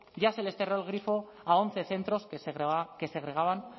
ya se les cerró el grifo a once centros que segregaban